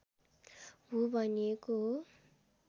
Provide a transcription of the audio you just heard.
भू भनिएको हो